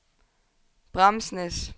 Bramsnæs